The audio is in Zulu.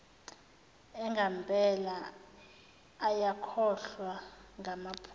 angempela ayakhohlwa ngamaphutha